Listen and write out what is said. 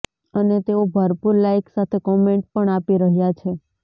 અને તેઓ ભરપુર લાઈક સાથે કોમેન્ટ પણ આપી રહ્યા છે